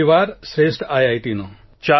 પહેલીવાર શ્રેષ્ઠ આઇઆઇટીનો